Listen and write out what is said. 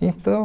Então